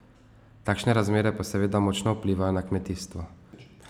Takšne razmere pa seveda močno vplivajo na kmetijstvo.